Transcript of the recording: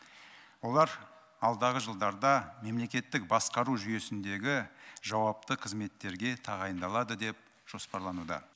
олар алдағы жылдарда мемлекеттік басқару жүйесіндегі жауапты қызметтерге тағайындалады деп жоспарлануда